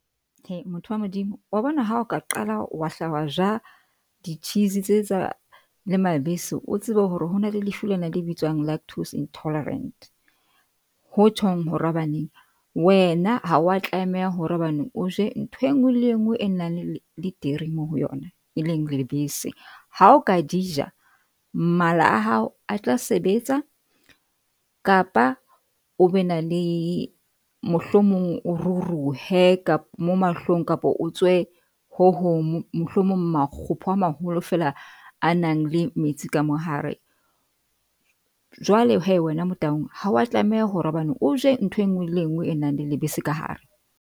He motho wa Modimo wa bona, ha o ka qala wa hla wa ja di-cheese tse tsa le mabese. O tsebe hore hona le lefu lena le bitswang lactose intolerant, ho tjhong wena ha wa tlameha hore hobane o je ntho e nngwe le e nngwe e nang le le dairy mo ho yona, e leng lebese ha o ka di ja. Mala a hao a tla sebetsa kapa o be na le mohlomong, o ruruhe ka mo mahlong kapa o tswe ho hong, mohlomong makgopo a maholo fela a nang le metsi ka mo hare. Jwale hee wena Motaung ha wa tlameha hore hobane o je ntho e nngwe le e nngwe e nang le lebese ka hare.